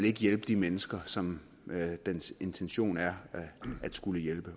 ikke hjælpe de mennesker som dens intention er at hjælpe